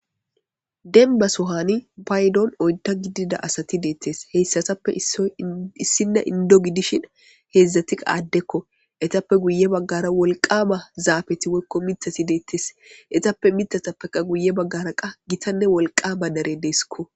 Denbasohani baydon oynta gidida asati deettes heyssatappe issinne indo gidishin heedzdzatia aaddekko etappe guye baggara wolqama zaafeti wkko mitati deettes etappe mitatappeka guye baggara qa gitanne wolqama dare deeskko.